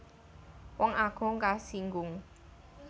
Wong agung kasinggung